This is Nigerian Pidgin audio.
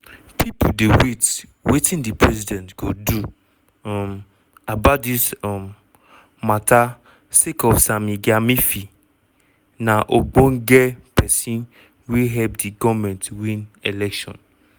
pipo dey wait wetin di president go do um about dis um mata sake of sammy gyamfi na ogbonge pesin wey help di goment win election.